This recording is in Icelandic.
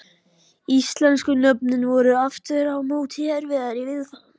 Íslensku nöfnin voru aftur á móti erfiðari viðfangs.